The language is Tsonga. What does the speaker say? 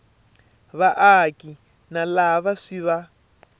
vaaki na lava swi va